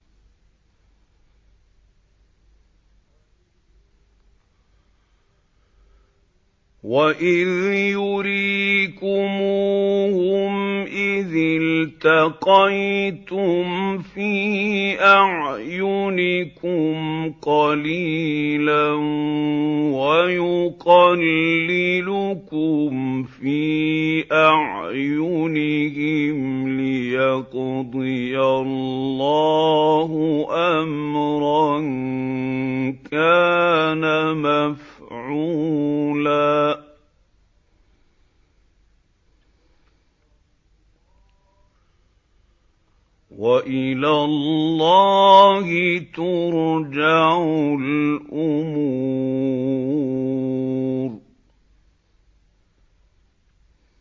وَإِذْ يُرِيكُمُوهُمْ إِذِ الْتَقَيْتُمْ فِي أَعْيُنِكُمْ قَلِيلًا وَيُقَلِّلُكُمْ فِي أَعْيُنِهِمْ لِيَقْضِيَ اللَّهُ أَمْرًا كَانَ مَفْعُولًا ۗ وَإِلَى اللَّهِ تُرْجَعُ الْأُمُورُ